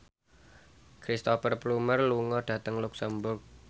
Cristhoper Plumer lunga dhateng luxemburg